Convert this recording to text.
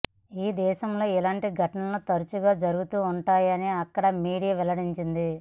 ఈ దేశంలో ఇలాంటి ఘటనలు తరచుగా జరుగుతుంటాయని అక్కడి మీడియా వెల్లడించింది